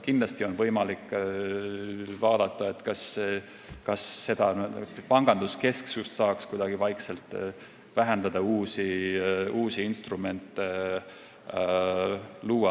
Kindlasti on aga võimalik vaadata, kas saaks kuidagi panganduskesksust vaikselt vähendada, uusi instrumente luua.